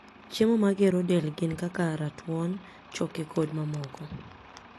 chiemo magero del gin kaka ratuon, choke kod mamoko